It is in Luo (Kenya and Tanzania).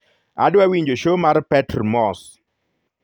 adwa winjo show mar petr moss